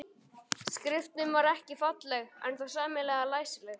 Skriftin var ekki falleg en þó sæmilega læsileg.